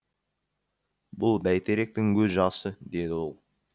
бұл бәйтеректің көз жасы деді ол